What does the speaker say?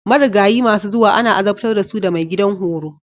Marigayi masu zuwa ana azabtar da su da maigidan horo.